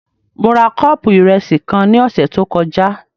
Mo ra kọ́ọ̀pù ìrẹsì kan ní ọ̀sẹ̀ tó kọjá